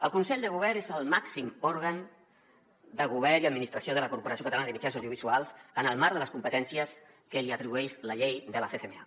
el consell de govern és el màxim òrgan de govern i administració de la corporació catalana de mitjans audiovisuals en el marc de les competències que li atribueix la llei de la ccma